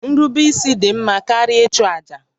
Nrubeisi dị mma karịa ịchụ àjà